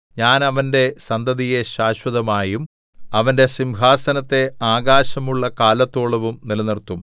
ഞാൻ അവന്റെ സന്തതിയെ ശാശ്വതമായും അവന്റെ സിംഹാസനത്തെ ആകാശമുള്ള കാലത്തോളവും നിലനിർത്തും